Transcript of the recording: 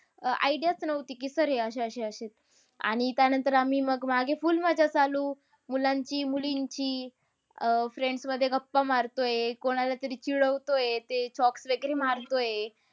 अह Idea च नव्हती की हे sir अशे, अशे, अशे आणि त्यानंतर आम्ही मग मागे full मज्जा चालू. मुलांची, मुलींची. अह friends मध्ये गप्पा मारतोय. कोणाला तरी चिडवतोय. ते chalks वगैरे मारतोय.